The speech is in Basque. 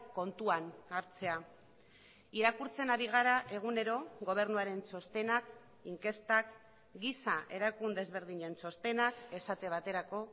kontuan hartzea irakurtzen ari gara egunero gobernuaren txostenak inkestak giza erakunde ezberdinen txostenak esate baterako